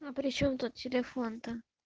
а причём тут телефон-то